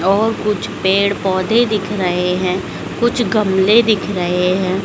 और कुछ पेड़ पौधे दिख रहे हैं कुछ गमले दिख रहे हैं।